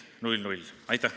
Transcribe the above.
Aitäh!